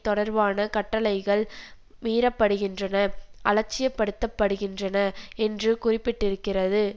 தொடர்பான கட்டளைகள் மீறப்படுகின்றன அலட்சியப்படுத்தப்படுகின்றன என்று குறிப்பிட்டிருக்கிறது